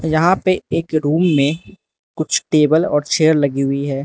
यहां पे एक रूम में कुछ टेबल और चेयर लगी हुई है।